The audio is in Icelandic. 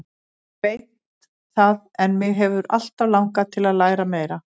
Ég veit það en mig hefur alltaf langað til að læra meira.